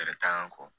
Kɛlɛ t'an ka kɔ